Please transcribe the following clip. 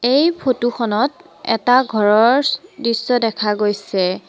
এই ফটো খনত এটা ঘৰৰ দৃশ্য দেখা গৈছে।